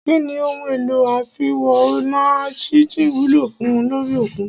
Kínní ohun èlò àfiwo-ọ̀nàjíjìn wúlò fùn ún lórí òkun?